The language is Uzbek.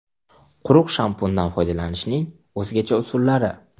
Quruq shampundan foydalanishning o‘zgacha usullari.